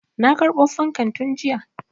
Na karɓo fankan tun jiya.